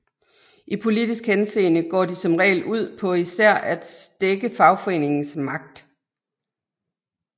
I politisk henseende går de som regel ud på især at stække fagforeningers magt